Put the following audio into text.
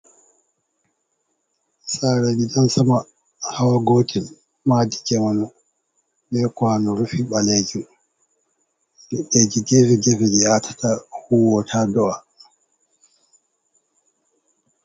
saarei gidansama hawa gotel Maadi jamanu be kwano rufi ɓalejum geege ji atata huwota do’a.